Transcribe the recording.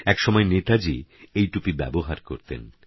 এক সময় নেতাজী এই টুপি ব্যবহার করতেন